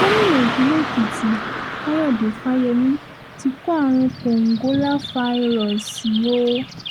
gómìnà ìpínlẹ̀ èkìtì káyọ̀dé fáyemí ti kó àrùn kòǹgóláfàírọ́ọ̀sì o